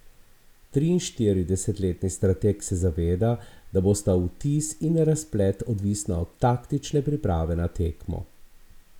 Triinštiridesetletni strateg se zaveda, da bosta vtis in razplet odvisna od taktične priprave na tekmo.